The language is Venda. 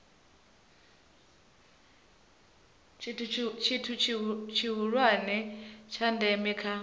tshithu tshihulwane tsha ndeme kha